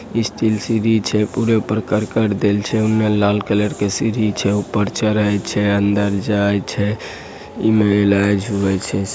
स्टील सीढ़ी छै पूरे ऊपर करकट देल छै एने लाल कलर के सीढ़ी छै ऊपर चढ़े छै अंदर जाय छै इमे इलाज हुए छे।